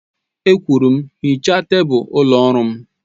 E kwuru m, hichaa tebụl ụlọ ọrụ m!